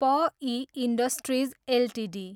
प I industries Ltd